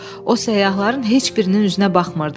O səyyahların heç birinin üzünə baxmırdı.